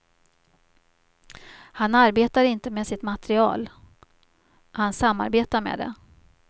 Han arbetar inte med sitt materal, han samarbetar med det.